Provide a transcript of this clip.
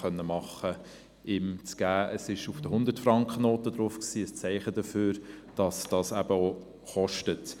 Dieses Bild war auf der Hundert-Franken-Banknote, ein Zeichen dafür, dass dies eben etwas kostet.